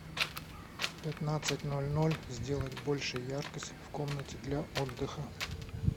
в пятнадцать ноль ноль сделать больше яркость в комнате для отдыха